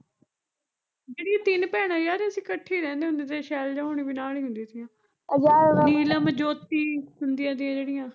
ਜਿਹੜੀਆਂ ਤਿੰਨ ਭੈਣਾਂ ਯਾਰ ਅਸੀਂ ਕੱਠੇ ਈ ਰਹਿੰਦੇ ਹੁੰਦੇ ਤੇ ਸ਼ੈਲਜਾ ਹੁਣਈ ਵੀ ਨਾਲ਼ ਈ ਹੁੰਦੀਆਂ ਤੀਆ ਨੀਲਮ ਜੋਤੀ ਹੁੰਦੀਆਂ ਤਾਂ ਜਿਹੜੀਆਂ